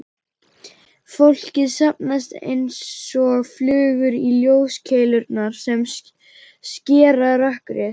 Fólkið safnast einsog flugur í ljóskeilurnar sem skera rökkrið.